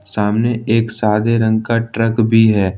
सामने एक सादे रंग का ट्रक भी है ।